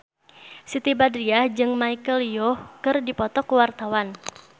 Siti Badriah jeung Michelle Yeoh keur dipoto ku wartawan